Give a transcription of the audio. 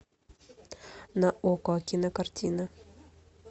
на окко кинокартина